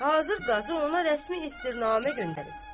Hazır qazı ona rəsmi istirnamə göndərib.